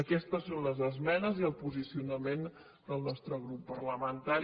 aquestes són les esmenes i el posicionament del nostre grup parlamentari